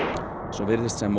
svo virðist sem